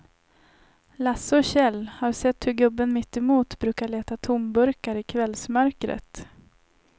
Lasse och Kjell har sett hur gubben mittemot brukar leta tomburkar i kvällsmörkret.